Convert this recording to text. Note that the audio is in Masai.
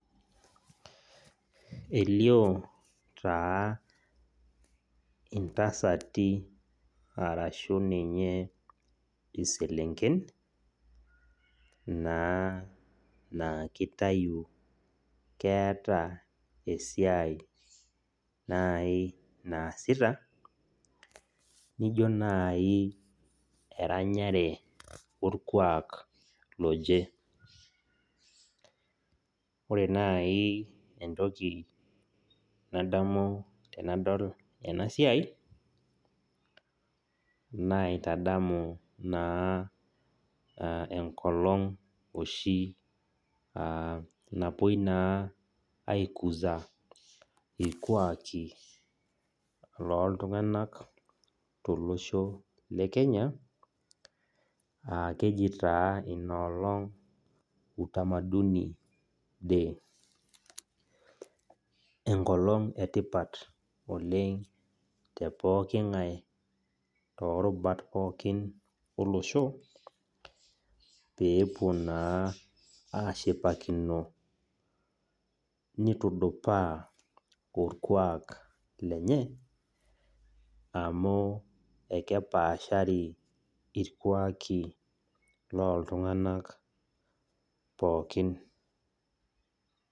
Elio taa intasati arashu ninye iselenken naa keitayu naa keata esiai naaji naasita, nijo naaji entoki nadamu tenadol ena siai naitadamu naa enkolong' oshi napuoi naa aikuza ilkuaki looltung'anak tolosho le Kenya , aa keji taa ina olong' Utamaduni day, enkolong e tipat oleng' te pooki ng'ae torubat pooki olosho, eepuo naa ashipakino neitudupaa olkuak lenye, amu ekepaashari ilkuaki looltung'anak pookin.